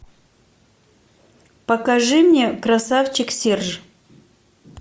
покажи мне красавчик серж